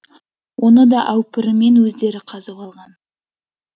оны да әупіріммен өздері қазып алған